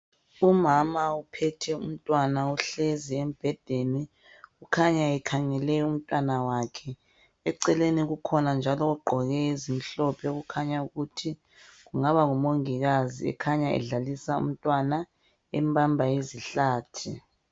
Umama uphethe umntwana uhlezi embhedeni, kukhanya ekhangele umntanakhe. Eceleni kukhona njalo ogqoke ezimhlophe okukhanya ukuthi kungaba ngumongikazi, ekhanya edlalisa umntwana, embamba izihlathi.